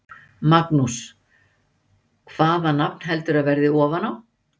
Magnús: Hvaða nafn heldurðu að verði ofan á?